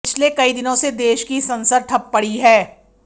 पिछले कई दिनों से देश की संसद ठप पड़ी है